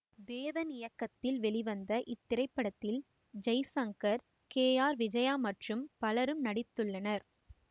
தேவன் இயக்கத்தில் வெளிவந்த இத்திரைப்படத்தில் ஜெய்சங்கர் கே ஆர் விஜயா மற்றும் பலரும் நடித்துள்ளனர்